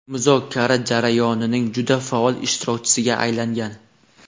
muzokara jarayonining juda faol ishtirokchisiga aylangan.